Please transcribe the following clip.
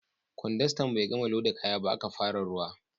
Kwandastan bai gama loda kaya ba, aka fara ruwa